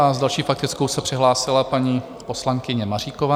A s další faktickou se přihlásila paní poslankyně Maříková.